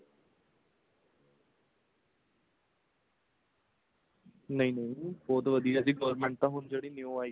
ਨਹੀਂ ਨਹੀਂ ਬਹੁਤ ਵਧੀਆ ਜੀ government ਤਾਂ ਹੁਣ ਜਿਹੜੀ new ਆਈ ਆ